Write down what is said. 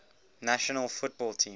national football team